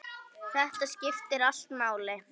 Þetta skiptir allt máli.